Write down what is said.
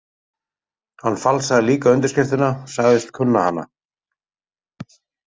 Hann falsaði líka undirskriftina, sagðist kunna hana.